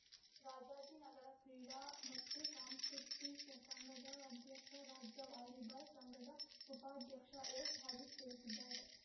ರಾಜಾಜಿನಗರ ಕ್ರೀಡಾ ಮತ್ತು ಸಾಂಸ್ಕೃತಿ ಸಂಘದ ಅಧ್ಯಕ್ಷ ರಾಜ್ಯ ವಾಲಿಬಾಲ್‌ ಸಂಘದ ಉಪಾಧ್ಯಕ್ಷ ಎಸ್‌ಹರೀಶ್‌ ತಿಳಿಸಿದ್ದಾರೆ